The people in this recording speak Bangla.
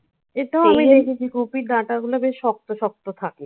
হ্যাঁ. এটাও আমি দেখেছি. কপির ডাঁটা গুলো বেশ শক্ত শক্ত থাকে।